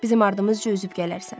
Bizim ardımızca üzüb gələrsən.